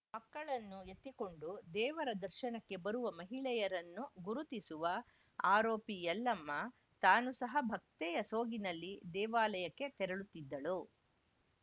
ಮಕ್ಕಳನ್ನು ಎತ್ತಿಕೊಂಡು ದೇವರ ದರ್ಶನಕ್ಕೆ ಬರುವ ಮಹಿಳೆಯರನ್ನು ಗುರುತಿಸುವ ಆರೋಪಿ ಯಲ್ಲಮ್ಮ ತಾನು ಸಹ ಭಕ್ತೆಯ ಸೋಗಿನಲ್ಲಿ ದೇವಾಲಯಕ್ಕೆ ತೆರಳುತ್ತಿದ್ದಳು